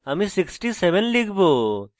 আমি 67 লিখব